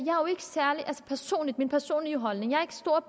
min personlige holdning at